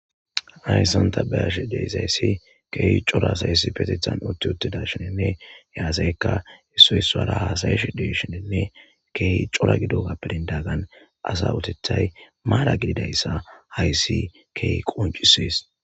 Hayssan ta beyashe deyzayssi keehi cora sayssi petethan utti uttida shininne yaaseykka issoyssara haasayesh deshininne keehi cora gido gappedindagagan asa utethay maala gididayssa hayssi keehi qoncisees.